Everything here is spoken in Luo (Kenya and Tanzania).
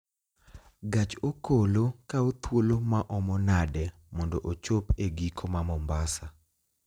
Gach okolo kawo thuolo maomo nade mondo ochopo e giko ma mombasa